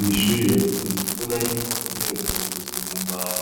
Mw'ishuri riradukunze kubona yuko intebe zibazikozwe mu mbahu